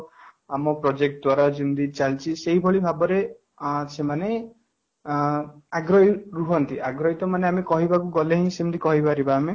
ଆମ project ଦ୍ୱାରା ଯେମିତି ଚାଲିଛି ସେଇଭଳି ଭାବରେ ଅଂ ସେମାନେ ଅଂ ଆଗ୍ରହୀ ରୁହନ୍ତି ଆଗ୍ରହୀ ତ ମାନେ କହିବା କୁ ଗଲେ ହିଁ ସେମିତି କହିପାରିବା